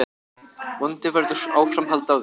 Vonandi verður áframhald á því.